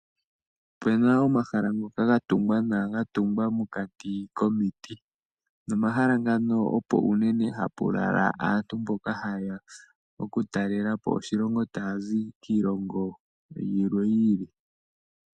Opu na omahala ngoka ga tungwa nawa, ga tungwa mokati komiti. Nopomahala mpoka opo unene hapu lala aantu mboka haye ya okutalela po oshilongo taya zi kiilongo yilwe yi ili.